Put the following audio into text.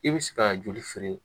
I bɛ se ka joli feere